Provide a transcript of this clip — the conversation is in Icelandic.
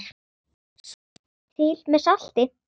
Smakkið til með salti.